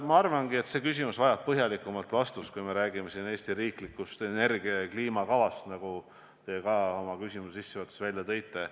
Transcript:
Ma arvan, et see küsimus vajab põhjalikumat vastust, kui räägime Eesti riiklikust energia- ja kliimakavast, nagu te oma küsimuse sissejuhatuses välja tõite.